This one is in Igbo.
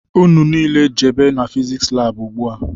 Ụnụ niile jebe n'fiziks lab ugbua!!